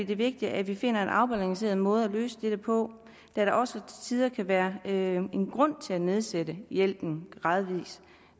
det vigtigt at vi finder en afbalanceret måde at løse dette på da der også til tider kan være en grund til at nedsætte hjælpen gradvis